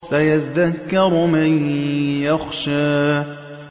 سَيَذَّكَّرُ مَن يَخْشَىٰ